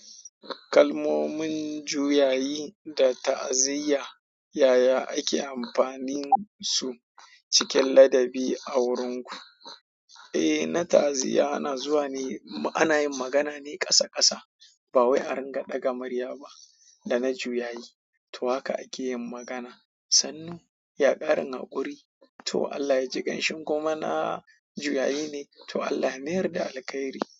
Kalmomin juyayi da ta'aziyya yaya ake amfanin su cikin ladabi a wurin ku? Eh, na ta'aziyya ana zuwa ne, ana yin magana ne ƙasa ƙasa. Ba wai a ringa ɗaga murya ba. Da na juyayi, to haka ake yin magana. Sannu, ya ƙarin haƙuri. To Allah ya ji ƙan shi in kuma na juyayi ne. To Allah ya mayar da alkhairi.